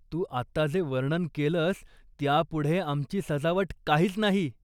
तू आत्ता जे वर्णन केलंस त्यापुढे आमची सजावट काहीच नाही.